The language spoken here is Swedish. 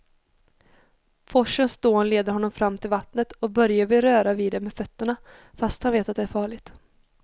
Forsens dån leder honom fram till vattnet och Börje vill röra vid det med fötterna, fast han vet att det är farligt.